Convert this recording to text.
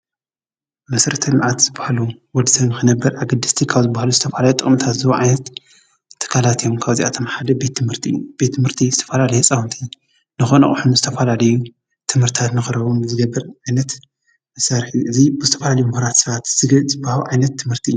መሠርተልምኣት ዝበሃሉ ወድዘም ክነበር ኣግድስቲ ካብ ዝብሃሉ ዝተፍላዮ ጥቕምታት ዝዉ ዓይነት ተካላት እዮም ካብ ዚኣቶም ሓደ ቤትምህርቲ ቤት ምህርቲ ዝተፋላልየ ጸውንቲ ንኾነ ኦሕኑ ዝተፍላልዩ ትምህርታት ምኸረዉን ዘገብር ኣይነት ምሣርኂ እዙይ ብስተፍላልዩ ምኅራት ሥባት ዝግ ጽበሃው ኣይነት ትምህርቲ እዩ።